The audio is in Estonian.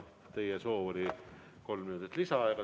Teie soov oli saada kolm minutit lisaaega.